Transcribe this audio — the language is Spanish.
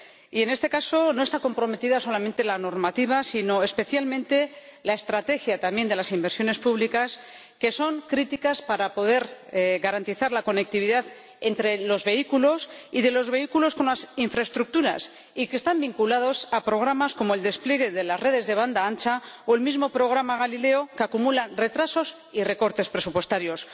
Y, en este caso, no está comprometida solamente la normativa sino, especialmente, también la estrategia de las inversiones públicas, que son críticas para poder garantizar la conectividad entre los vehículos y de los vehículos con las infraestructuras y que están vinculadas a programas como el despliegue de las redes de banda ancha o el mismo programa Galileo, que acumulan retrasos y recortes presupuestarios.